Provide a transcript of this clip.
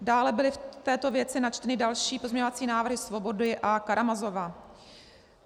Dále byly v této věci načteny další pozměňovací návrhy Svobody a Karamazova.